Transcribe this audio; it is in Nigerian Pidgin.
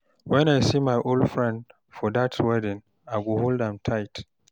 Wen I see my old friend for dat wedding, I hug tight.